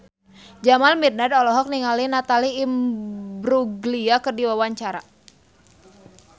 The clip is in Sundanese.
Jamal Mirdad olohok ningali Natalie Imbruglia keur diwawancara